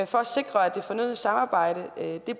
for at sikre at det fornødne samarbejde